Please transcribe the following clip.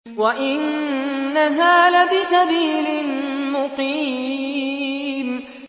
وَإِنَّهَا لَبِسَبِيلٍ مُّقِيمٍ